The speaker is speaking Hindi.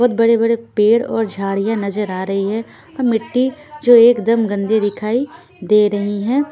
बहोत बड़े बड़े पेर और झाडिया नजर आ रही है और मिट्टी जो एकदम गंदी दिखाई दे रही है।